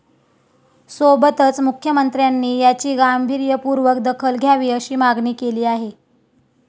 सोबतच मुख्यमंत्र्यांनी याची गांभीर्यपूर्वक दखल घ्यावी अशी मागणी केली आहे.